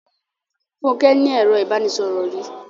Fúnke ní ẹro ìbánisọ̀rò rí.